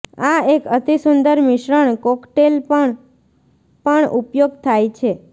આ એક અતિસુંદર મિશ્રણ કોકટેલપણ પણ ઉપયોગ થાય છે